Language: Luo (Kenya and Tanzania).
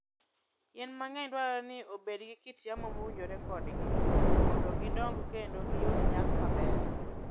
Yien mang'eny dwarore ni obed gi kit yamo mowinjore kodgi mondo gidong kendo giyud nyak maber.